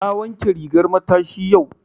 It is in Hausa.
Na wanke rigar matashi yau.